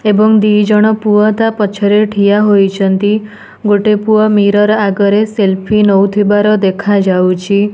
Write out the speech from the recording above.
ଏବଂ ଦି ଜଣ ପୁଅ ତା ପଛରେ ଠିଆ ହୋଇଛନ୍ତି ଗୋଟେ ପୁଅ ମିରୋର୍ ଆଗରେ ସେଲଫି ନଉଥିବାର ଦେଖାଯାଉଛି।